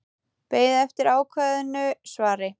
Beið eftir ákveðnu svari.